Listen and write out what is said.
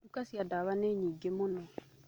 Duka cia dawa nĩ nyingĩ mũno.